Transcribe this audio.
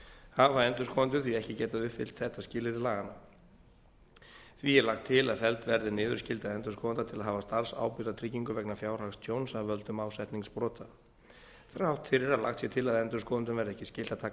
hafa endurskoðendur því ekki getað uppfyllt þetta skilyrði laganna því er lagt til að felld verði niður skylda endurskoðenda til að hafa starfsábyrgðartryggingu vegna fjárhagstjóns af völdum ásetningsbrota þrátt fyrir að lagt sé til að endurskoðendum verði ekki skylt að taka